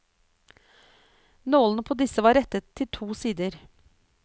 Nålene på disse var rettet til to sider.